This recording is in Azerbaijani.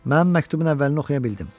Mən məktubun əvvəlini oxuya bildim.